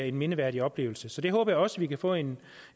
en mindeværdig oplevelse det håber jeg også vi kan få en